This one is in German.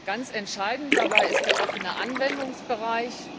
Ganz entscheidend ist dabei der offene Anwendungsbereich.